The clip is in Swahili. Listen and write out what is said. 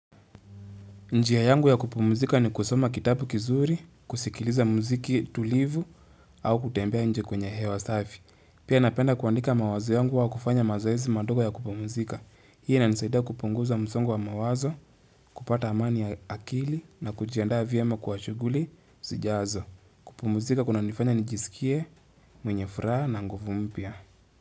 Njia yangu ya kupumzika ni kusoma kitabu kizuri, kusikiliza mziki tulivu au kutembea nje kwenye hewa safi. Pia napenda kuandika mawazo yangu au kufanya mazoezi madogo ya kupumzika. Hii inisaida kupunguza msongo wa mawazo, kupata amani ya akili na kujiandaa vyema kwa shuguli zijazo. Kupumzika kunanifanya nijisikie, mwenye furaha na nguvu mpya.